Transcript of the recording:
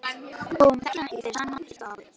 Hún þekkir hann ekki fyrir sama pilt og áður.